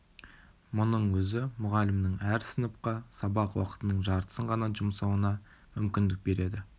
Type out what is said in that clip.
мұның өзі мұғалімнің әр сыныпқа сабақ уақытының жартысын ғана жұмсауына мүмкіндік береді